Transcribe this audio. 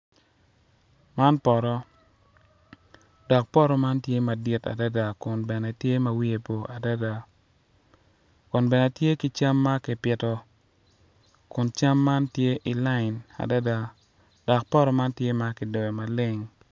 Man poto dok poto man tye madit adada kun bene tye ma wiye bor adada kun bene tye ki cam ma kipito kun cam man tye i layin adada dok poto man tye ma kidoyo maleng.